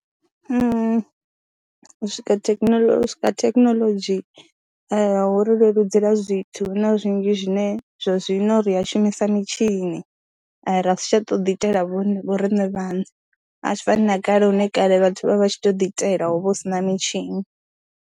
U swika thekhinolodzhi, u swika ha thekhinolodzhi hu ri leludzela zwithu hu na zwinzhi zwine zwa zwino ri a shumisa mitshini, ra si tsha tou ḓiitela vho riṋe vhaṋe, a zwi fani na kale hune kale vhathu vha tshi tou ḓiitela ho vha hu si na mitshini.